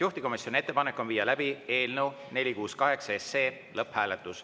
Juhtivkomisjoni ettepanek on viia läbi eelnõu 468 lõpphääletus.